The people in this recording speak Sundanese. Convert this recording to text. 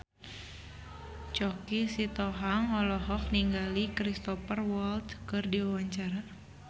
Choky Sitohang olohok ningali Cristhoper Waltz keur diwawancara